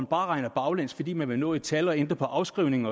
bare regner baglæns fordi man vil nå et tal og ændre på afskrivningen